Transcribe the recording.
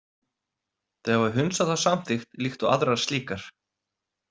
Þau hafa hunsað þá samþykkt líkt og aðrar slíkar.